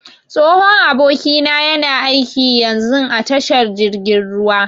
Tsohon abokina yana aiƙi yanzun a tashar jirgin ruwa.